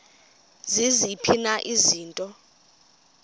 ziziphi na izinto